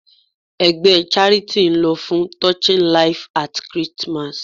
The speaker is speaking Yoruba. Ẹgbẹ́ charity ń lọ fún Touching life at Christmas.